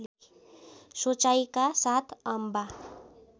सोचाइका साथ अम्बा